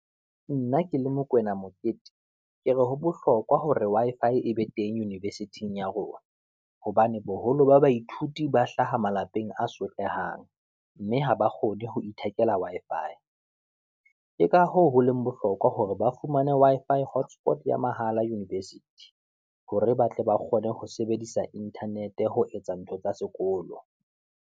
Nna ke le Mokoena Mokete, ke re ho bohlokwa hore Wi-Fi e be teng university-ng ya rona, hobane boholo ba baithuti ba hlaha malapeng a sotlehang, mme ha ba kgone ho ithekela Wi-Fi. Ke ka hoo ho leng bohlokwa hore ba fumane Wi-Fi hotspot ya mahala university, hore ba tle ba kgone ho sebedisa Internet ho etsa ntho tsa sekolo.